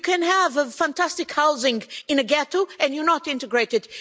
You can have fantastic housing in a ghetto and you're not integrated.